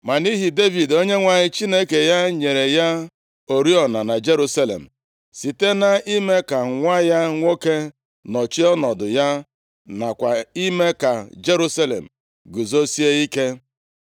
Ma nʼihi Devid, Onyenwe anyị Chineke ya nyere ya oriọna na Jerusalem, site na-ime ka nwa ya nwoke nọchie ọnọdụ ya nakwa ime ka Jerusalem guzosie ike.